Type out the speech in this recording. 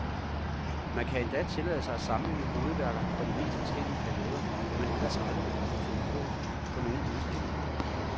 Man kan endda tillade sig at sammenligne hovedværker fra de mest forskellige perioder, hvad man ellers aldrig vil kunne på nogen udstilling.